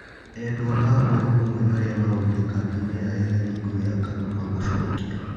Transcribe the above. Edwa a hũra ũmwe aria morire kambĩ inĩ ya ethari ngũĩ ya Kakuma gũcokio